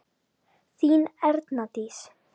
Þín Erna Dís.